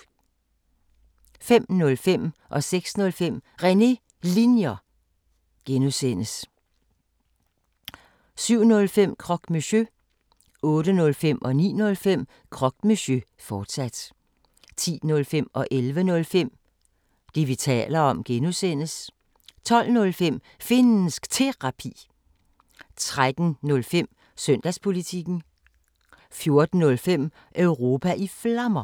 05:05: René Linjer (G) 06:05: René Linjer (G) 07:05: Croque Monsieur 08:05: Croque Monsieur, fortsat 09:05: Croque Monsieur, fortsat 10:05: Det, vi taler om (G) 11:05: Det, vi taler om (G) 12:05: Finnsk Terapi 13:05: Søndagspolitikken 14:05: Europa i Flammer